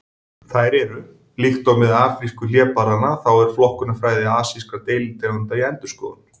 Þær eru: Líkt og með afrísku hlébarðanna þá er flokkunarfræði asískra deilitegunda í endurskoðun.